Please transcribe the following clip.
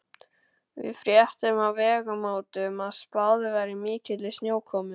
Við fréttum á Vegamótum að spáð væri mikilli snjókomu.